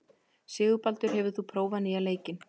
Sigurbaldur, hefur þú prófað nýja leikinn?